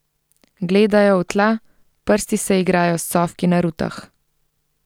Gledajo v tla, prsti se igrajo s cofki na rutah.